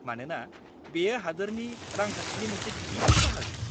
-मानोना, बेयो हादोरनि रांखान्थिनि मोनसे गिदिर बाहागो।